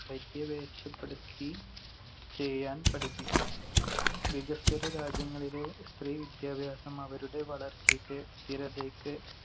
പര്യവേഷപ്പെടുത്തി ചെയ്യാൻ പഠിപ്പിക്കണം. വികസ്വര രാജ്യങ്ങളിലെ സ്ത്രീ വിദ്യാഭ്യാസം അവരുടെ വളർച്ചക്ക് സ്ഥിരതക്ക്